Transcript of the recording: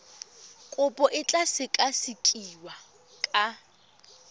kopo e tla sekasekiwa ka